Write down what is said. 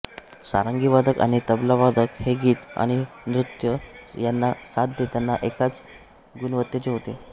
सारंगीवादक आणि तबलावादक हे गीत आणि नृत्य यांना साथ देताना एकाच गुणवत्तेचे होते